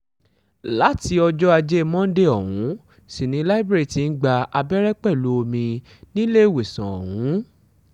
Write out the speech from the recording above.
láti ọjọ́ ajé monde ọ̀hún sì ni libre ti ń gba abẹ́rẹ́ pẹ̀lú omi níléèwésàn ọ̀hún